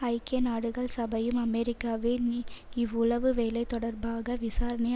ஐக்கிய நாடுகள் சபையும் அமெரிக்காவின் இவ் உளவுவேலை தொடர்பாக விசாரணையை